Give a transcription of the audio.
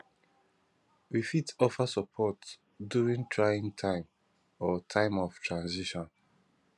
we fit offer support during trying time or time of transition